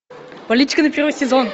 политиканы первый сезон